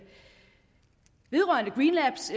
vedrørende green labs